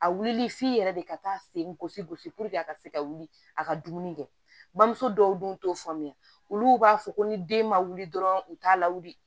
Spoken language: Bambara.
A wuli f'i yɛrɛ de ka taa sen gosi gosi a ka se ka wuli a ka dumuni kɛ bamuso dɔw dun t'o faamuya olu b'a fɔ ko ni den ma wuli dɔrɔn u t'a lawuli